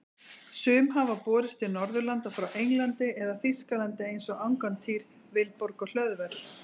Sum hafa borist til Norðurlanda frá Englandi eða Þýskalandi eins og Angantýr, Vilborg og Hlöðver.